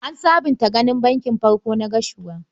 An sabunta ginin Bankin farkon na Gashua.